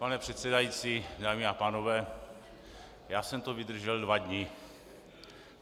Pane předsedající, dámy a pánové, já jsem to vydržel dva dny.